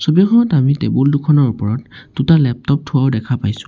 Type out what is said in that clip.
ছবিখনত আমি টেবুল দুখনৰ ওপৰত দুটা লেপটপ থোৱাও দেখা পাইছোঁ।